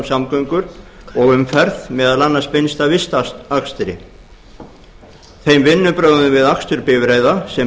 samgöngur og umferð meðal annars beinst að vistakstri þeim vinnubrögðum við akstur bifreiða sem